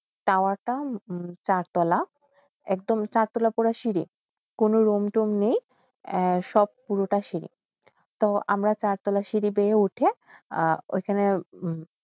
tower তা সার তোলা একদম সার তোলা পরে সিড়ি কোন রূমতুম নেই সব পুরোটা সিড়ি তো আমরা সারটালা সিড়ি উঠে ঐখানে